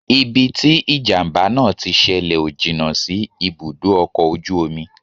Ibi tí ìjàmbá náà tí ṣẹlẹ̀ ò jìnnà sí ibùdó ọkọ̀ ojú omi